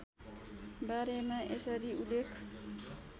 बारेमा यसरी उल्लेख